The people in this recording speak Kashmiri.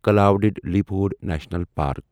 clouded leopard national park